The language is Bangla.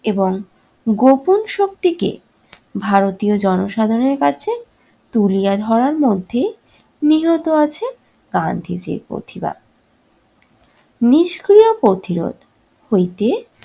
এবং গোপন শক্তিকে ভারতীয় জনসাধারণের কাছে তুলিয়া ধরার মধ্যে নিহত আছে গান্ধীজির প্রতিবাদ। নিষ্ক্রিয় প্রতিরোধ হইতে